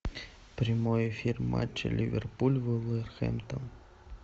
прямой эфир матча ливерпуль вулверхэмптон